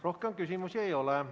Rohkem küsimusi ei ole.